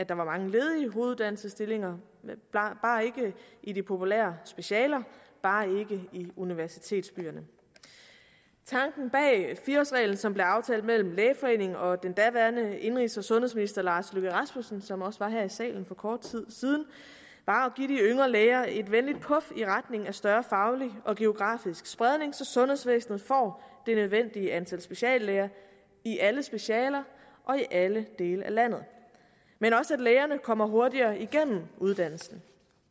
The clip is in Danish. var mange ledige hoveduddannelsesstillinger bare ikke i de populære specialer bare ikke i universitetsbyerne tanken bag fire årsreglen som blev aftalt mellem lægeforeningen og den daværende indenrigs og sundhedsminister herre lars løkke rasmussen som også var her i salen for kort tid siden var at give de yngre læger et venligt puf i retning af større faglig og geografisk spredning så sundhedsvæsenet får det nødvendige antal speciallæger i alle specialer og i alle dele af landet men også at lægerne kommer hurtigere igennem uddannelsen